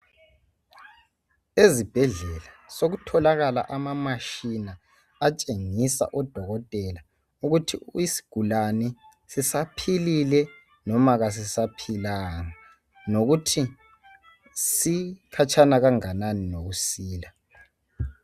Ezibhedlela sokutholakala amamashina atshengisa udokotela ukuthi isigulane sisaphilile noma kasisaphilanga lokuthi sikhatshana kanganani lokusila.